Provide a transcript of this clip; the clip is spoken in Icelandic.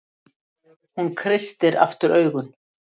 Hún kreistir aftur augun.